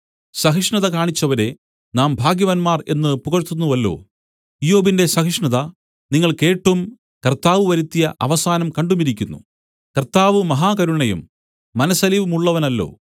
സഹിഷ്ണത കാണിച്ചവരെ നാം ഭാഗ്യവാന്മാർ എന്ന് പുകഴ്ത്തുന്നുവല്ലോ ഇയ്യോബിന്റെ സഹിഷ്ണത നിങ്ങൾ കേട്ടും കർത്താവ് വരുത്തിയ അവസാനം കണ്ടുമിരിക്കുന്നു കർത്താവ് മഹാകരുണയും മനസ്സലിവുമുള്ളവനല്ലോ